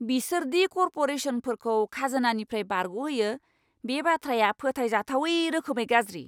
बिसोर दि करप'रेसनफोरखौ खाजोनानिफ्राय बारग'होयो बे बाथ्राया फोथायजाथावै रोखोमै गाज्रि।